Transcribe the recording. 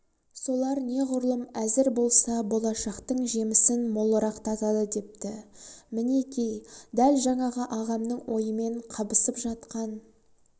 солар неғұрлым әзір болса болашақтың жемісін молырақ татады депті мінеки дәл жаңағы ағамның ойымен қабысып жатқан